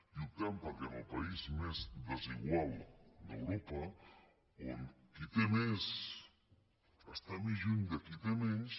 i optem perquè en el país més desigual d’europa on qui té més està més lluny de qui té menys